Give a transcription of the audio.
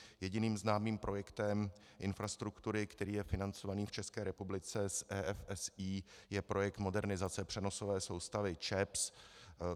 Jediným známým projektem infrastruktury, který je financovaný v České republice z EFSI, je projekt Modernizace přenosové soustavy ČEPS.